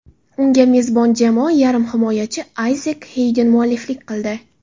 Unga mezbon jamoa yarim himoyachisi Ayzek Xeyden mualliflik qildi.